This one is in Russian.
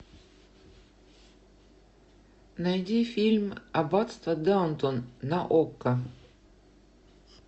найди фильм аббатство даунтон на окко